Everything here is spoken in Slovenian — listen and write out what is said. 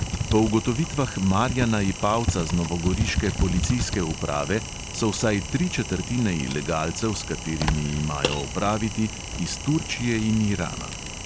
Po ugotovitvah marjana ipavca z novogoriške policijske uprave so vsaj tri četrtine ilegalcev, s katerimi imajo opraviti, iz turčije in irana.